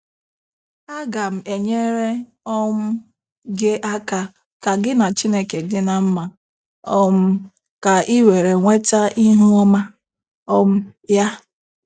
Aga m enyere um gị aka ka gị na Chineke dị ná mma um ka ị were nweta ihu ọma um ya.